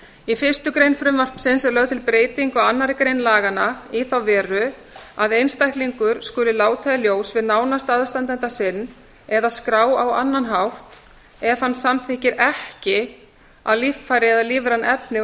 í fyrstu grein frumvarpsins er lögð til breyting á annarri grein laganna í þá veru að einstaklingur skuli láta í ljós við nánasta aðstandanda sinn eða skrá á annan hátt ef hann samþykkir ekki að líffæri eða lífræn efni